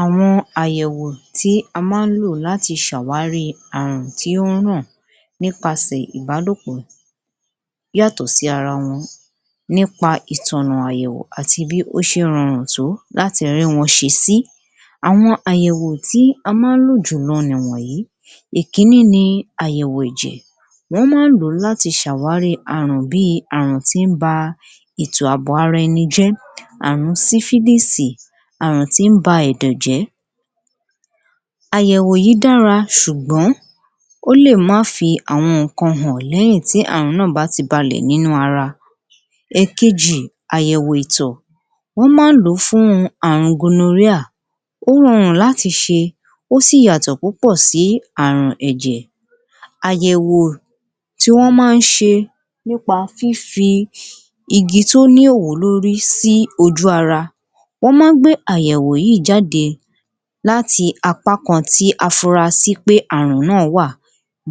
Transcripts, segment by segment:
Àwọn àyẹ̀wò tí a máa ń lò láti ṣe àwárí àrùn tí ó ràn nípa sè ìbálòpọ̀ yàtọ̀ sí ara wọn nípa ìtànà àyẹ̀wò àti bí ó ṣe ń rọrùn tó láti rí wọn ṣe sí, àwọn àyẹ̀wò tí a máa ń lò jùlọ ni wọ̀nyìí. Ìkíní ni àyẹ̀wò ẹ̀jẹ̀, wọ́n máa ń lòati ṣe àwárí àrùn bíi àrùn tí ń bá ètò àbò ara ẹni jẹ́ àrùn tí ń ba ẹ̀dọ̀ jẹ́, àyẹ̀wò yìí dára ṣùgbọ́n ó lè mú àwọn nǹkan hàn lẹ́yìn tí àrùn náà bá ti balẹ̀ nínú ara. Ẹ̀kejì àyẹ̀wò ìtọ̀ wọn máa ń lọ fún àrùn ó rọrùn láti ṣe ó sì yàtọ̀ sí àrùn ẹ̀jẹ̀. Àyẹ̀wò tí wọn máa ń ṣe nípa fífi igi tí ó òwú lórí sí ojú ara, wọn máa ń gbé ayẹwo yìí jáde láti apá kan tí a fura sí àrùn náà wà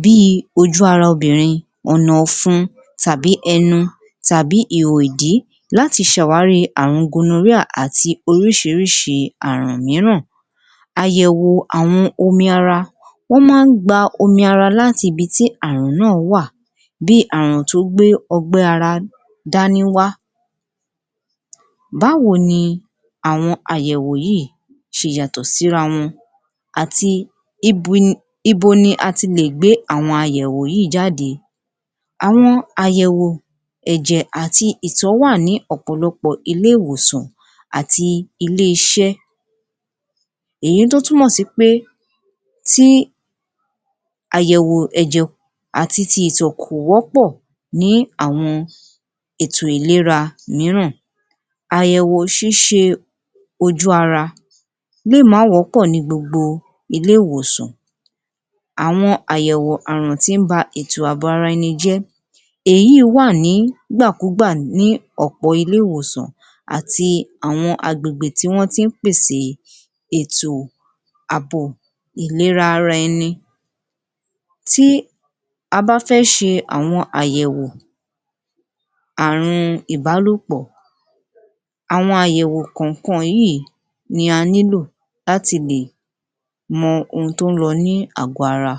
bí ojú ara obìnrin, ọ̀nà ọ̀fun tàbí ẹnu tàbí ihò ìdí láti ṣe àwárí àrùn àti oríṣiríṣi àrùn mìíràn. Àyẹ̀wò àwọn omi ara, wọ́n máa ń gba omi ara láti ibi tí àrùn náà wà, Bí àrùn tí ó gbé ogbẹ́ ara dání wá. Báwo ni àwọn àyẹ̀wò yìí ṣe yàtọ̀ sí ara wọn àti ibo ni a tilè gba àwọn àyẹ̀wò yìí jáde, àwọn ayẹwo ẹ̀jẹ̀ àti ìtọ̀ wà ní ọ̀pọ̀lọpọ̀ ilé-ìwòsàn àti ilé-iṣẹ́. Èyí tí ó túmọ̀ sí pé tí àyẹ̀wò ẹ̀jẹ̀ àti ti ẹ̀jẹ̀ kò wọ́pọ̀ ní àwọn ètò ìléra mìíràn àyẹ̀wò ojú ara le má wọ́pọ̀ ní gbogbo ilé-ìwòsàn àwọn ayẹwo àrùn tí ń bá ètò àbò ara ẹni jẹ́, èyí wá nígbà kú gbà ní ọ̀pọ̀ ilé-ìwòsàn àti àwọn agbègbè tí wọ́n tí ń pèse ètò àbò ìléra ara ẹni. Tí a bá fẹ́ ṣe àwọn àyẹ̀wò àrùn ìbálòpọ̀, àwọn àyẹ̀wò kọ̀ọ̀kan yíì ni a nílò láti lè mọ ohun tí ó ń lọ ní àgò-ara